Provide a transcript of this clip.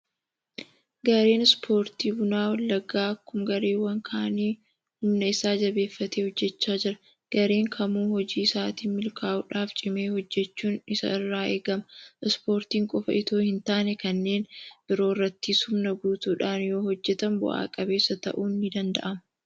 Gareen Ispoortii buna wallaggaa akkuma gareewwan kaanii humna isaa jabeeffatee hojjechaa jira. Gareen kamuu hojii isaatiin milkaa'uudhaaf cimee hojjechuun isa irraa eegama. Ispoortii qofa itoo hintaane kanneen biroo irrattis humna guutuudhaan yoohojjetan bu'a qabeessa ta'uun ni danda'ama.